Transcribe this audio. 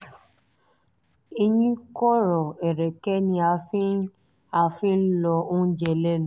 eyín kọ̀rọ̀ ẹ̀rẹ̀kẹ́ ni a fi ń a fi ń lọ oúnjẹ lẹ́nu